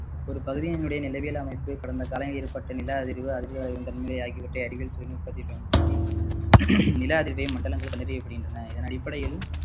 ஒரு பகுதியுனுடைய நிலவியல் அமைப்பு கடந்த காலம் ஏற்பட்ட நில அதிர்வு, அதிர்வு, அலையின் தன்மை ஆகியவற்றை அறிவியல் தொழில்நுட்பத்தை பயன்படுத்தி நிலஅதிர்வை மண்டலங்கள் இதன் அடிப்படையில்